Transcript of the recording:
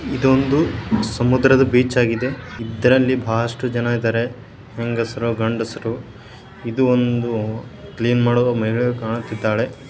ಇದೊಂದು ಸಮುದ್ರದ ಬೀಚ್ ಆಗಿದೆ. ಇದರಲ್ಲಿ ಬಹಳಷ್ಟು ಜನರಿದ್ದಾರೆ. ಹೆಂಗಸರು ಗಂಡಸರು. ಇದೊಂದು ಕ್ಲೀನ್ ಮಾಡಲು ಮಹಿಳೆಯು ಕಾಣುತ್ತಿದ್ದಾಳೆ.